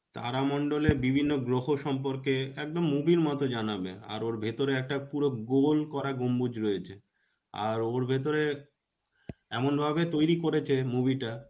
তারা মন্ডলে বিভিন্ন গ্রহ সম্পর্কে একদম movie র মতো জানাবে. আর ওর ভিতরে একটা পুরো গোল করা গম্বুজ রয়েছে. আর ওর ভিতরে এমন ভাবে তৈরী করেছে.movie টা